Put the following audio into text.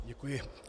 Děkuji.